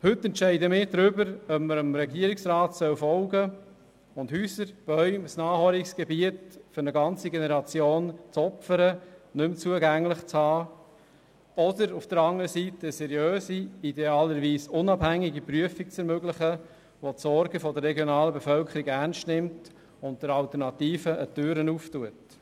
Heute entscheiden wir darüber, ob man dem Regierungsrat folgen und Häuser, Bäume, ein Naherholungsgebiet für eine ganze Generation, opfern und nicht mehr zugänglich haben soll, oder ob man auf der anderen Seite eine seriöse, idealerweise unabhängige Prüfung ermöglicht, die die Sorgen der regionalen Bevölkerung ernst nimmt und der Alternative eine Türe öffnet.